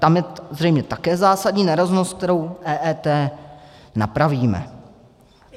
Tam je zřejmě také zásadní nerovnost, kterou EET napravíme.